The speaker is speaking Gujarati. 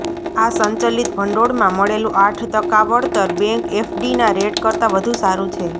આ સંચલિત ભંડોળમાં મળેલું આઠ ટકા વળતર બેન્ક એફડીના રેટ કરતાં વધુ સારું છે